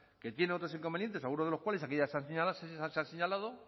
que tienen otros inconvenientes alguno de los cuales que aquí ya se ha señalado